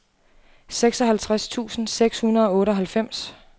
seksoghalvtreds tusind seks hundrede og otteoghalvfems